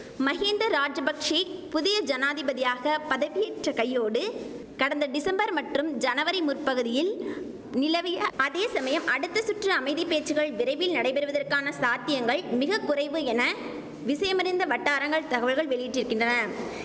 மஹிந்த ராஜபக்ஷெ புதிய ஜனாதிபதியாக பதவியேற்ற கையோடு கடந்த டிசம்பர் மற்றும் ஜனவரி முற்பகுதியில் நிலவிய அதே சமயம் அடுத்த சுற்று அமைதி பேச்சுக்கள் விரைவில் நடைபெறுவதற்கான சாத்தியங்கள் மிக குறைவு என விஷயமறிந்த வட்டாரங்கள் தகவல்கள் வெளியிட்டிருக்கின்றன